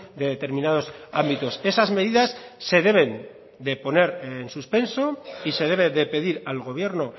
de determinados ámbitos esas medidas se deben de poner en suspenso y se debe de pedir al gobierno